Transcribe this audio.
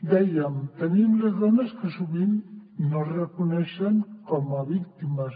dèiem tenim les dones que sovint no es reconeixen com a víctimes